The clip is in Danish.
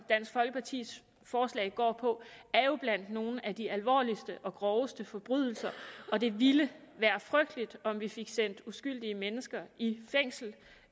dansk folkepartis forslag går på er jo blandt nogle af de alvorligste og groveste forbrydelser og det ville være frygteligt om vi fik sendt uskyldige mennesker i fængsel